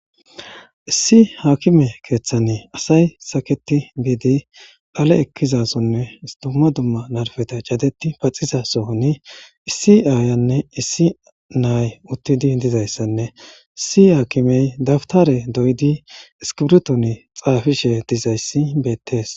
issi haakime keeththane asay saketi giidi phale ekkizasonne istouma dumma narfeta cadeti paxiza sohoni issi aayanne issi naay uttidi dizayssanne issi haakimey dabtare doyidi iskibirton xaafishe dizayssi beettees